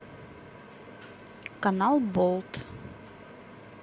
канал болт